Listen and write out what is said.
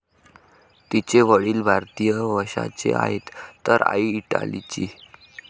तिचे वडील भारतीय वंशाचे आहेत तर आई इटालीची.